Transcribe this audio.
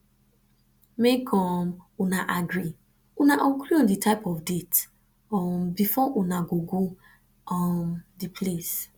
make um una agree una agree on di type of date um before una go go um di place